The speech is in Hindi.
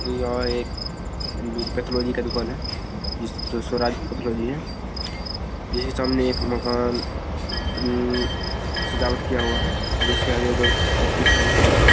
यह एक पैथोलॉजी का दुकान है जिसमें स्वराज पैथोलॉजी इसके सामने एक मकान हम्म सजावट किया हुआ है जिस के आगे दो व्यक्ति खड़े हुए हैं।